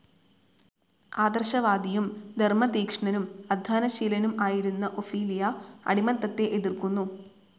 ആദർശവാദിയും ധർമ്മതീക്ഷ്ണനും അദ്ധ്വാനശീലനും ആയിരുന്ന ഒഫീലിയ അടിമത്തത്തെ എതിർത്തിരുന്നു.